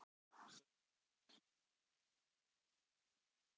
Sölvi: En af hverju voru þessi gögn send til Styrmis?